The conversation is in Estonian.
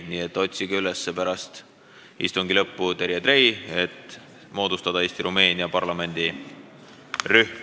Nii et otsige peale istungi lõppu üles Terje Trei, et moodustada Eesti-Rumeenia parlamendirühm.